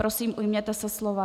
Prosím, ujměte se slova.